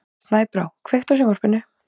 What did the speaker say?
Snæbrá, kveiktu á sjónvarpinu.